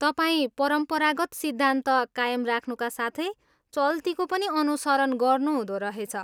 तपाईँ परम्परागत सिद्धान्त कायम राख्नुका साथै चल्तीको पनि अनुसरण गर्नुहुँदो रहेछ।